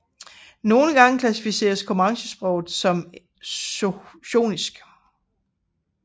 Nogle gange klassificeres comanchesproget som del af shoshonisk